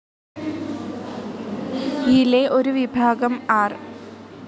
യിലെ ഒരു വിഭാഗം ആർ.